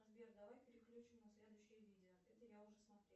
сбер давай переключим на следующее видео это я уже смотрела